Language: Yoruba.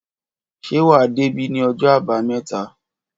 Ṣé wà dé bi ni ọjọ àbàámẹ̀tá?